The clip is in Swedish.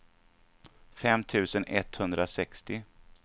fem tusen etthundrasextio